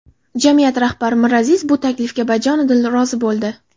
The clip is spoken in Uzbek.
Jamiyat rahbari Miraziz bu taklifga bajonidil rozi bo‘ldi.